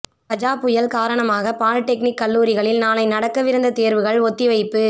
கஜா புயல் காரணமாக பாலிடெக்னிக் கல்லூரிகளில் நாளை நடக்கவிருந்த தேர்வுகள் ஒத்திவைப்பு